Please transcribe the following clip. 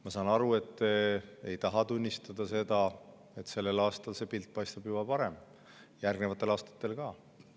Ma saan aru, et te ei taha tunnistada, et sellel aastal paistab see pilt juba parem, järgnevatel aastatel ka.